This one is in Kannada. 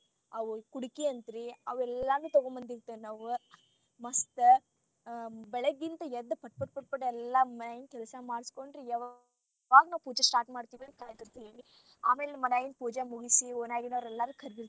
ಅವ್ ಕುಡಕಿ ಅಂತ್ರೀ ಅವ ಎಲ್ಲಾನು ತೊಗೊಂಡ ಬಂದಿರ್ತಿವಿ ನಾವ ಮಸ್ತ ಬೆಳಗಿಂದ ಎದ್ದ್ ಪಟ್ ಪಟ್ ಅಂತ ಎಲ್ಲಾ ಮನ್ಯಾಗಿನ ಕೆಲಸ ಮಾಡಸ್ಕೊಂಡ್, ಯಾವಾಗ ಪೂಜೆ start ಮಾಡ್ತಿರ್ತಿವಿ ಅಂತ ಕಾಯತಿರ್ತೀವಿ ಆಮೇಲೆ ಮನ್ಯಾಗಿನ ಪೂಜೆ ಮುಗಿಸಿ ಓಣ್ಯಾಗಿನೋರ ಎಲ್ಲರು ಕರದಿರತಾರ.